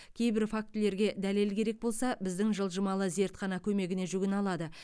кейбір фактілерге дәлел керек болса біздің жылжымалы зертхана көмегіне жүгіне алады